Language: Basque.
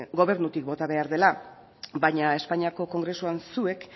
gobernutik bota behar dela baina espainiako kongresuan zuek